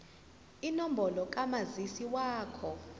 inombolo kamazisi wakho